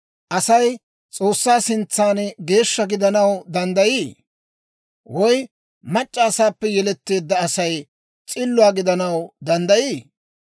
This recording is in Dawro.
Asay S'oossaa sintsan geeshsha gidanaw danddayii? Woy mac'c'a asaappe yeletteedda Asay s'illuwaa gidanaw danddayii?